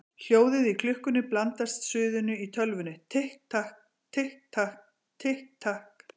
Hljóðið í klukkunni blandast suðinu í tölvunni: Tikk takk, tikk takk, tikk takk.